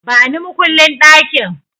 Bani makullin ɗakin!